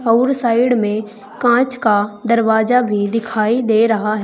आउर साइड में कांच का दरवाजा भी दिखाई दे रहा--